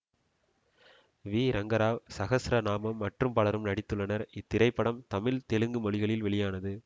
we Rangarao Sahasranamam மற்றும் பலரும் நடித்துள்ளனர் இத்திரைப்படம் தமிழ் தெலுங்கு மொழிகளில் வெளியானது